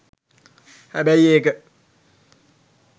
හැබැයි ඒක